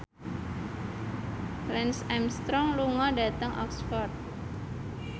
Lance Armstrong lunga dhateng Oxford